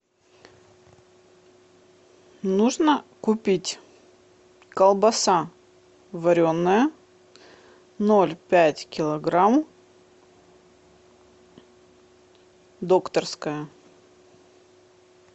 нужно купить колбаса вареная ноль пять килограмм докторская